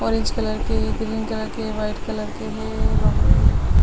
orange colour के green colour के white colour के है वहां--